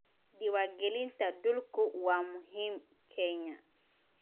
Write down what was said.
Diiwaangelinta dhulku waa muhiim Kenya.